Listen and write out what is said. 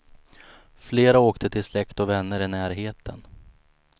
Flera åkte till släkt och vänner i närheten.